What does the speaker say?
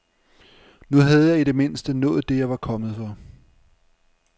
Nu havde jeg i det mindste nået det jeg var kommet for.